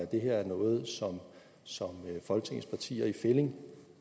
det her er noget som som folketingets partier i fællig